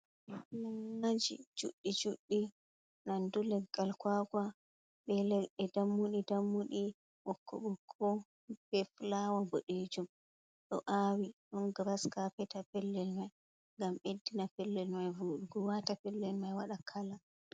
Nannaji juɗɗii juɗɗi nandu leggal kwaka, be leɗɗe dammuɗi dammuɗi, ɓokko ɓokko be fulawa bodejuum, ɗo awi ɗon giraskapet ha pellel mai, gam beddina pellel mai vuɗuugo wata pellel mai wada kala.